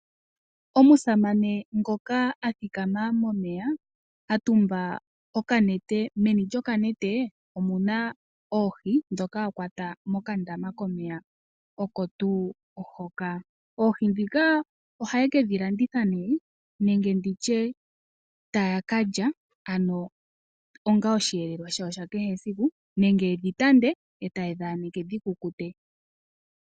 Omusamane ngoka a thikama momeya, a tumba okanete. Meni lyokanete omu na oohi ndhoka a kwata mokandama komeya oko tuu hoka. Oohi ndhika ohaye ke dhi landitha nenge ndi tye taya ka lya onga osheelelwa shawo sha kehe esiku, nenge yedhi tande e taye dhi aneke dhi kukute.